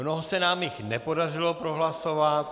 Mnoho se nám jich nepodařilo prohlasovat.